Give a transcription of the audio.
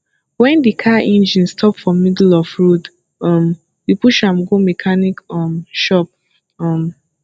wen di car engine stop for middle of road um we push am go mechanic um shop um